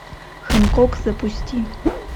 хэнкок запусти